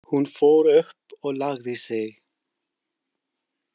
Hún fór upp og lagði sig.